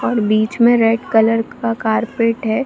और बीच में रेड कलर का कारपेट है।